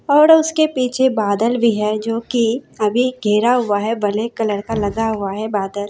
और उसके पीछे बादल भी है जो कि अभी घिरा हुआ है ब्लैक कलर का लगा हुआ है बादल।